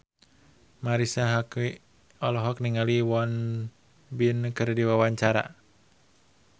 Marisa Haque olohok ningali Won Bin keur diwawancara